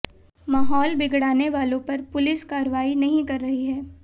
माहौल बिगड़ाने वालों पर पुलिस कार्रवाई नहीं कर रही है